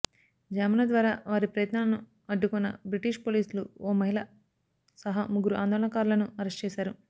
జామర్ల ద్వారా వారి ప్రయత్నాలను అడ్డుకున్న బ్రిటిష్ పోలీసులు ఓ మహిళ సహా ముగ్గురు ఆందోళనకారులను అరెస్ట్ చేశారు